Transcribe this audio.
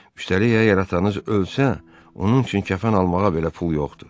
Üstəlik əgər atanız ölsə, onun üçün kəfən almağa belə pul yoxdur.